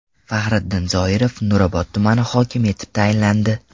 Faxriddin Zoirov Nurobod tumani hokimi etib tayinlandi.